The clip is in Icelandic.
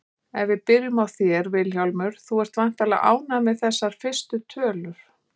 Ef við byrjum á þér Vilhjálmur, þú ert væntanlega ánægður með þessar fyrstu tölur?